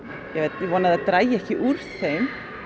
ég vona að það dragi ekki úr þeim